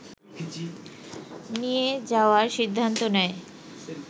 নিয়ে যাওয়ার সিদ্ধান্ত নেয়